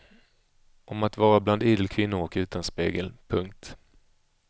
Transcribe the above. Om att vara bland idel kvinnor och utan spegel. punkt